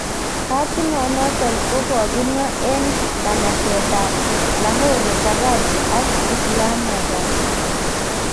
Katinon noton ko kokimwa en nganaset ab Lahore, Karachi ak Islamabad.